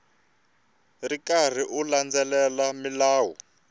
ri karhi u landzelela milawu